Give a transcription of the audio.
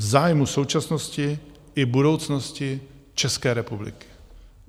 V zájmu současnosti i budoucnosti České republiky.